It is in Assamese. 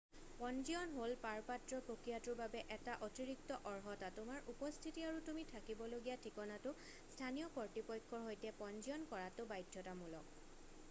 পঞ্জীয়ন হ'ল পাৰপত্ৰ প্ৰক্ৰিয়াটোৰ বাবে এটা অতিৰিক্ত অৰ্হতা তোমাৰ উপস্থিতি আৰু তুমি থাকিবলগীয়া ঠিকনাটো স্থানীয় কৰ্তৃপক্ষৰ সৈতে পঞ্জীয়ন কৰাটো বাধ্যতামূলক